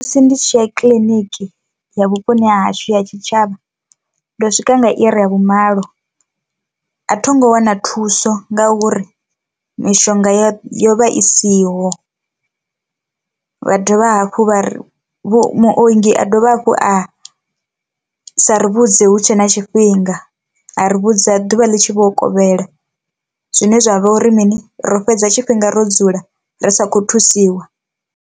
Ndi tshiya kiḽiniki ya vhuponi ha hashu ya tshitshavha ndo swika nga iri ya vhumalo, a thongo wana thuso nga uri mishonga yo yo vha i siho, vha dovha hafhu vha ri vhu muongi a dovhe hafhu a sa ri vhudze hutshe na tshifhinga, a ri vhudza ḓuvha ḽi tshi vho kovhela zwine zwa vha uri mini ro fhedza tshifhinga ro dzula ri sa kho thusiwa.